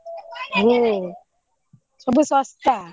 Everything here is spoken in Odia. ହୁଁ ସବୁ ଶସ୍ତା।